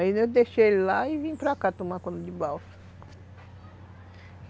Aí eu deixei ele lá e vim para cá tomar conta de balsa.